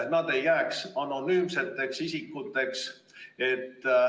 Nad ei tohi jääda anonüümseteks isikuteks.